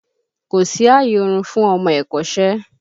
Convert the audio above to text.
Kò sí àyè orun fún ọmọ ẹ̀kọ́ṣẹ́!